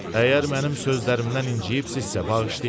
Əgər mənim sözlərimdən incimisinizsə, bağışlayın.